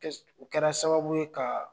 U kɛra sababu ye ka